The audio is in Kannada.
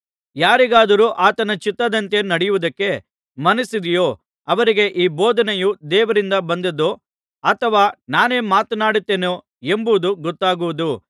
ಯಾರಿಗಾದರೂ ಆತನ ಚಿತ್ತದಂತೆ ನಡೆಯುವುದಕ್ಕೆ ಮನಸ್ಸಿದೆಯೋ ಅವರಿಗೆ ಈ ಬೋಧನೆಯು ದೇವರಿಂದ ಬಂದ್ದದ್ದೋ ಅಥವಾ ನಾನೇ ಮಾತನಾಡುತ್ತೇನೋ ಎಂಬುದು ಗೊತ್ತಾಗುವುದು